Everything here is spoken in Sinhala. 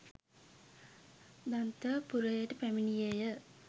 දන්ත පුරයට පැමිණියේ ය